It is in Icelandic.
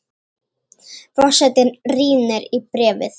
Forsetinn rýnir í bréfið.